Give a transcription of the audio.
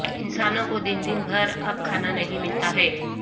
انسانوں کو دن دن بھر اب کھانا نہیں ملتا ہے